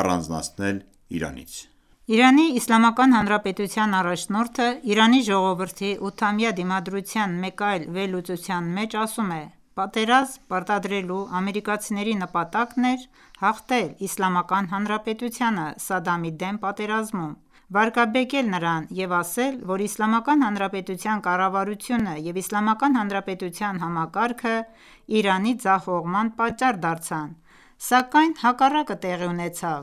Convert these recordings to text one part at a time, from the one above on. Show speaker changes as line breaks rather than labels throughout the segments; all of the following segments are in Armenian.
առանձնացնել Իրանից»:
Իրանի Իսլամական Հանրապետության առաջնորդը Իրանի ժողովրդի ութամյա դիմադրության մեկ այլ վերլուծության մեջ ասում է.«Պատերազմ պարտադրելու ամերիկացիների նպատակն էր հաղթել Իսլամական Հանրապետությանը Սադամի դեմ պատերազմում, վարկաբեկել նրան և ասել, որ «Իսլամական Հանրապետության կառավարությունը և Իսլամական Հանրապետության համակարգը Իրանի ձախողման պատճառ դարձան », սակայն հակառակը տեղի ունեցավ։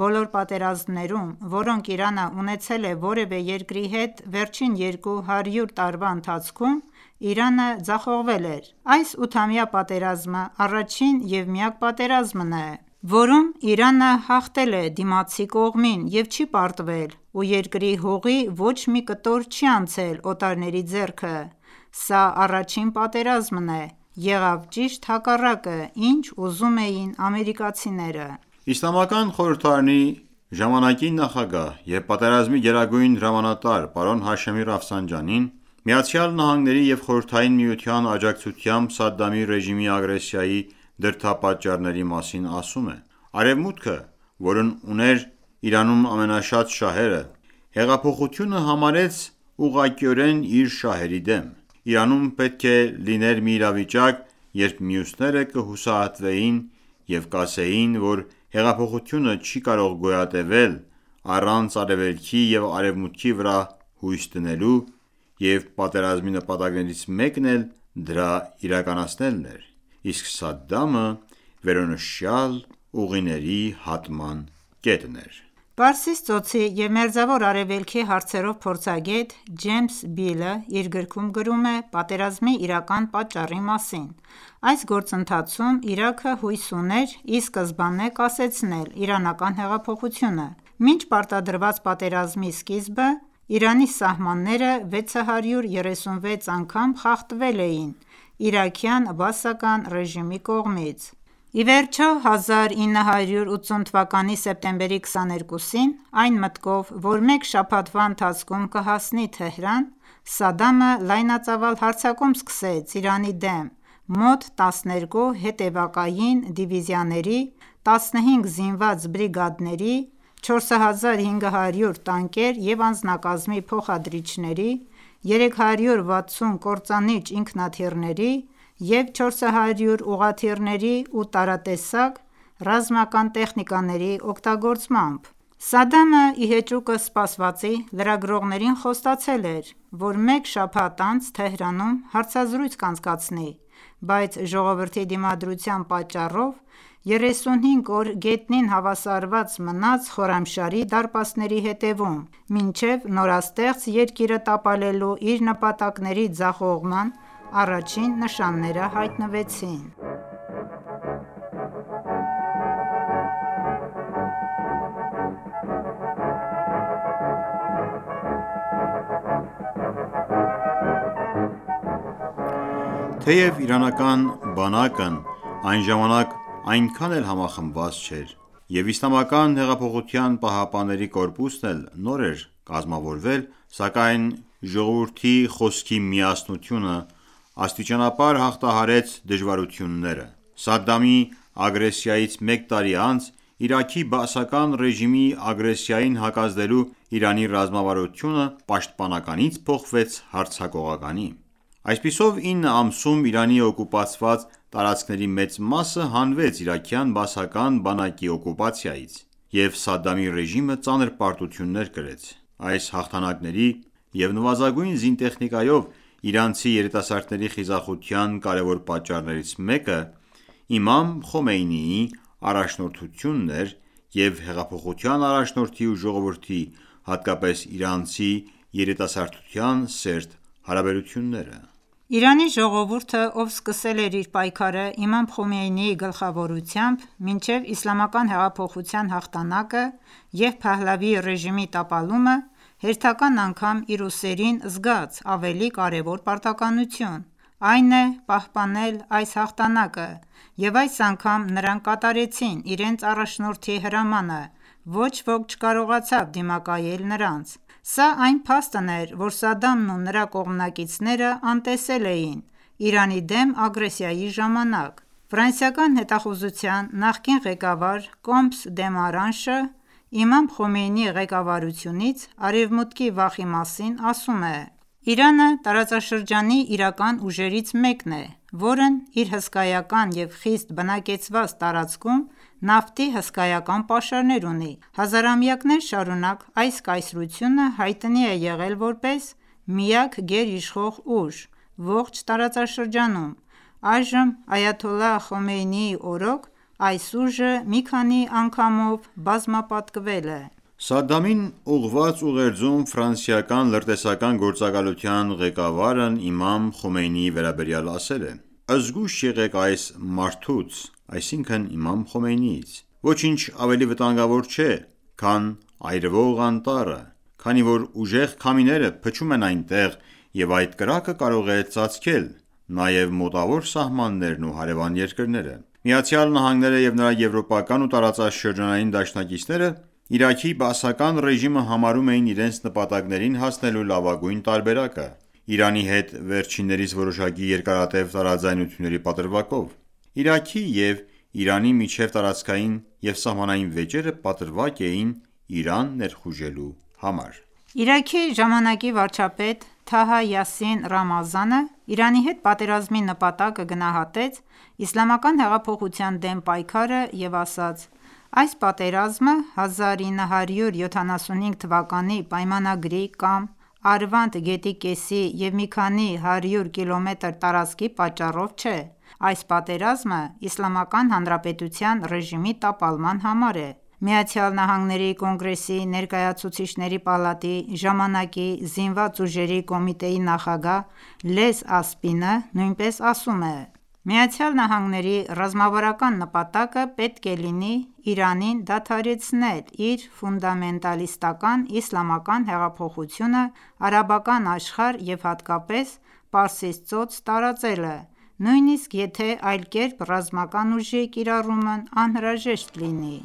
Բոլոր պատերազմներում, որոնք Իրանը ունեցել է որևէ երկրի հետ վերջին երկու հարյուր տարվա ընթացքում, Իրանը ձախողվել էր: Այս ութամյա պատերազմը առաջին և միակ պատերազմն է, որում Իրանը հաղթել է դիմացի կողմին և չի պարտվել ու երկրի հողի ոչ մի կտոր չի անցել օտարների ձեռքը: Սա առաջին պատերազմն է։ Եղավ ճիշտ հակառակը, ինչ ուզում էին ամերիկացիները»:
Իսլամական խորհրդարանի ժամանակ նախագահ և պատերազմի գերագույն հրամանատար պարոն Հաշեմի ֆսանջանին ԱՄՆ-ի և Խորհրդային Միության աջակցությամբ Սադամի ռեժիմի ագրեսիայի դրդապատճառների մասին ասում է. «...Արևմուտքը, որն ուներ Իրանում ամենաշատ շահերը, հեղափոխությունը համարեց ուղղակիորեն իր շահերի դեմ: Իրանում պետք է լիներ մի իրավիճակ, երբ մյուսները կհուսահատվեին և կասեին, որ հեղափոխությունը չի կարող գոյատևել առանց Արևելքի և Արևմուտքի վրա հույս դնելու, և պատերազմի նպատակներից մեկն էլ դրա իրականացնելն էր... իսկ Սադամը վերոնշյալ ուղիների հատման կետն էր»:
Պարսից Ծոցի և Մերձավոր Արևելքի հարցերով փորձագետ՝ Ջեյմս Բիլը, իր գրքում գրում է պատերազմի իրական պատճառի մասին.«....Այս գործընթացում Իրաքը հույս ուներ ի սկզբանե կասեցնել իրանական հեղափոխությունը»:Մինչ պարտադրված պատերազմի սկիզբը, Իրանի սահմանները 636 անգամ խախտվել էին իրաքյան բաասական ռեժիմի կողմից։ Ի վերջո, 1980 թվականի սեպտեմբերի 22-ին, այն մտքով, որ մեկ շաբաթվա ընթացքում կհասնի Թեհրան, Սադդամը լայնածավալ հարձակում սկսեց Իրանի դեմ մոտ 12 հետևակային դիվիզիաների, 15 զինված բրիգադների, 4500 տանկեր և անձնակազմի փոխադրիչների, 360 կործանիչ ինքնաթիռների և 400 ուղղաթիռների և տարատեսակ ռազմական տեխնիկաների օգտագործմամբ: Սադամը, ի հեճուկս սպասվածի, լրագրողներին խոստացել էր, որ մեկ շաբաթ անց Թեհրանում հարցազրույց կանցկացնի, բայց ժողովրդի դիմադրության պատճառով 35 օր գետնին հավասարված մնաց Խորամշահրի դարպասների հետևում՝ մինչև նորաստեղծ երկիրը տապալելու իր նպատակների ձախողման առաջին նշանները հայտնվեցին:
Թեև իրանական բանակն այն ժամանակ այնքան էլ համախմբված չէր, և ԻՀՊԿ-ն էլ նոր էր կազմավորվել, սակայն ժողովրդի խոսքի միասնությունը աստիճանաբար հաղթահարեց դժվարությունները։ Սադամի ագրեսիայից մեկ տարի անց Իրաքի բաասական ռեժիմի ագրեսիային հակազդելու Իրանի ռազմավարությունը պաշտպանականից փոխվեց հարձակողականի: Այսպիսով, 9 ամսում Իրանի օկուպացված տարածքների մեծ մասը հանվեց իրաքյան բաասական բանակի օկուպացիայից, և Սադամի ռեժիմը ծանր պարտություններ կրեց։ Այս հաղթանակների և նվազագույն զինտեխնիկայով իրանցի երիտասարդների խիզախության կարևոր պատճառներից մեկը Իմամ Խոմեյնիի առաջնորդությունն էր և հեղափոխության առաջնորդի ու ժողովրդի, հատկապես իրանցի երիտասարդության սերտ հարաբերությունները:
Իրանի ժողովուրդը, ով սկսել էր իր պայքարը Իմամ Խոմեյնիի գլխավորությամբ մինչև Իսլամական հեղափոխության հաղթանակը և Փահլավիի ռեժիմի տապալումը, հերթական անգամ իր ուսերին զգաց ավելի կարևոր պարտականություն, այն է՝ պահպանել այս հաղթանակը. և այս անգամ նրանք կատարեցին իրենց առաջնորդի հրամանը, ոչ ոք չկարողացավ դիմակայել նրանց։ Սա այն փաստն էր, որը Սադամն ու նրա կողմնակիցները անտեսել էին Իրանի դեմ ագրեսիայի ժամանակ: Ֆրանսիական հետախուզության նախկին ղեկավար Կոմս Դեմարանշը Իմամ Խոմեյնիի ղեկավարությունից Արևմուտքի վախի մասին ասում է.«Իրանը տարածաշրջանի իրական ուժերից մեկն է, որն իր հսկայական և խիտ բնակեցված տարածքում նավթի հսկայական պաշարներ ունի: Հազարամյակներ շարունակ այս կայսրությունը հայտնի է եղել որպես միակ գերիշխող ուժ ողջ տարածաշրջանում: Այժմ, Այաթոլլահ Խոմեյնիի օրոք, այս ուժը մի քանի անգամով բազմապատկվել է»։
Սադամին ուղղված ուղերձում ֆրանսիական լրտեսական գործակալության ղեկավարն Իմամ Խոմեյնիի վերաբերյալ ասել է.«Զգույշ եղեք այս մարդուց (Իմամ Խոմեյնիից): Ոչինչ ավելի վտանգավոր չէ, քան այրվող անտառը, քանի որ ուժեղ քամիները փչում են այնտեղ, և այդ կրակը կարող է ծածկել նաև մտավոր սահմաններն ու հարևան երկրները»: Միացյալ Նահանգները և նրա եվրոպական ու տարածաշրջանային դաշնակիցները Իրաքի բաասական ռեժիմը համարում էին իրենց նպատակներին հասնելու լավագույն տարբերակը՝ Իրանի հետ վերջինիս որոշակի երկարատև տարաձայնությունների պատրվակով։ Իրաքի և Իրանի միջև տարածքային և սահմանային վեճերը պատրվակ էին Իրան ներխուժելու համար:
Իրաքի ժամանակի վարչապետ «Թահա Յասին Ռամազանը» Իրանի հետ պատերազմի նպատակը գնահատեց իսլամական հեղափոխության դեմ պայքարը և ասաց.«Այս պատերազմը 1975-ի պայմանագրի կամ Արվանդ գետի կեսի և մի քանի հարյուր կիլոմետր տարածքի պատճառով չէ։ Այս պատերազմը Իսլամական Հանրապետության ռեժիմի տապալման համար է»։ ԱՄՆ Կոնգրեսի Ներկայացուցիչների պալատի ժամանակի Զինված ուժերի կոմիտեի նախագահ «Լես Ասպինը» նույնպես ասում է. «ԱՄՆ-ի ռազմավարական նպատակը պետք է լինի Իրանին դադարեցնել իր ֆունդամենտալիստական իսլամական հեղափոխությունը արաբական աշխարհ և հատկապես Պարսից ծոց տարածելը, նույնիսկ եթե այդ կերպ ռազմական ուժի կիրառումն անհրաժեշտ լինի»։